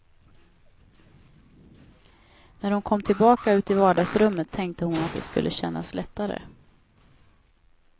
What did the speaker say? När hon kom tillbaka ut i vardagsrummet tänkte hon att det skulle kännas lättare.